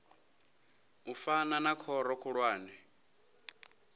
u fana na khoro khulwane